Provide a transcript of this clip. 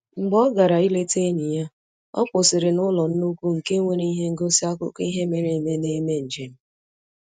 Mgbe ọ gara ileta enyi ya, ọ kwụsịrị n'ụlọ nnukwu nke nwere ihe ngosi akụkọ ihe mere eme na-eme njem